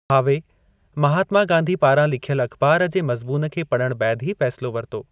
भावे, महात्मा गांधी पारां लिखयलु अख़बार जे मज़मून खे पढ़ण बैदि ही फ़ैसिलो वरितो।